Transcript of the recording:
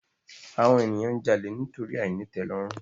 Àwon ènìyàn n jalè nítorí àìnítèlòrùn